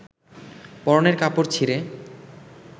পরনের কাপড় ছিঁড়ে